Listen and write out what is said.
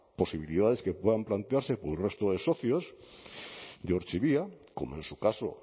posibilidades que puedan plantearse por el resto de socios de ortzibia como en su caso